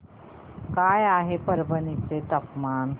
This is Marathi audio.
काय आहे परभणी चे तापमान